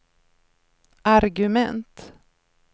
argument